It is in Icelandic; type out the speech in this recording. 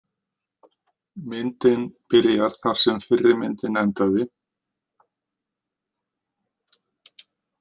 Myndin byrjar þar sem fyrri myndin endaði.